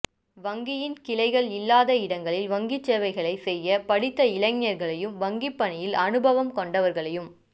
வங்கியின் கிளைகள் இல்லாத இடங்களில் வங்கி சேவைகளைச் செய்ய படித்த இளைஞர்களையும் வங்கிப்பணியில் அனுபவம் கொண்டவர்களையும்